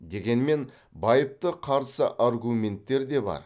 дегенмен байыпты қарсы аргументтер де бар